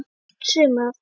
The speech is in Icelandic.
Allt sumar